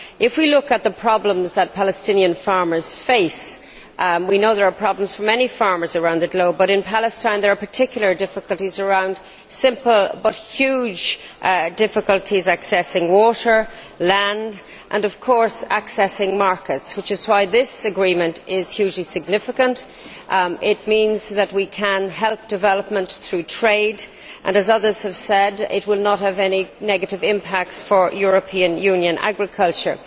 When we look at the problems that Palestinian farmers face, we know there are problems for many farmers around the globe but in Palestine there are particular difficulties simple but huge difficulties in accessing water, land and of course accessing markets, which is why this agreement is hugely significant. It means that we can help development through trade and as others have said it will not have any negative impacts for European Union agriculture.